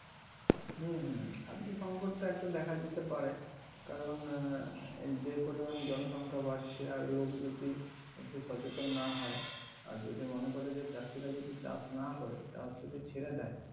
হম হম। খাদ্যসঙ্কত তো একটা দেখা দিতে পারে কারণ আহ এই যে পরিমান জনসংখ্যা বাড়ছে আর লোক যদি একটু সচেতন না হয় আর যদি মনে করে যে চাষিরা যদি চাষ না করে চাষ যদি ছেড়ে দেয়